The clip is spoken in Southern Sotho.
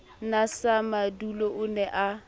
na samadula o ne a